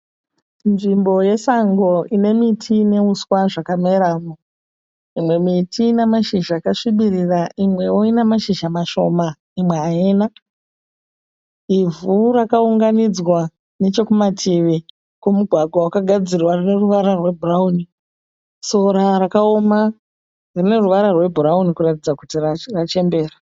Nzvimbo yesango inemiti neuswa zvakameramo. Imwe miti inemashizha akasvibirira imwewo ine mashizha mashoma imwe haina. Ivhu rakaungaunidzwa nechekumativi kwemugwagwa wakagadzirwa rineruvara rwe bhurauni. Sora rakaoma rineruvara rwebhurauni kuratidza kuti rachembera.